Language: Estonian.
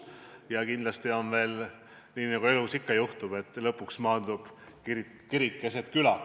Ja lõpuks läheb kindlasti hoopis nii, nagu elus ikka juhtub, et kirik maandub keset küla.